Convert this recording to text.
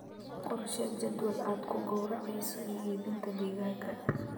Qorshee jadwal aad ku gowracayso iyo iibinta digaaggaaga.